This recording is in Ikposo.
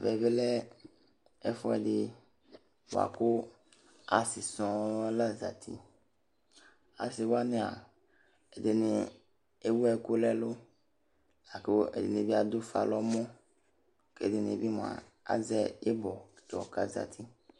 Ɛʋɛ lɛ ɛfuɛdi bua ku asi sɔɔ la zati, asiwania, ɛdini ewu ɛku n'ɛlu, la ku ɛdini bi adufa n'ɔmɔ, k'ɛdini bi mua azɛ ibɔ tsɔ k'azati